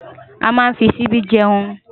Amá nfí ṣìbi jèún